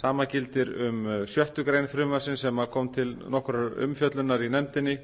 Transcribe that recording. sama gildir um sjöttu greinar frumvarpsins sem kom til nokkurrar umfjöllunar í nefndinni